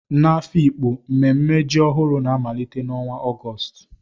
N'Afikpo, mmemme ji ọhụrụ na-amalite n'ọnwa Ọgọst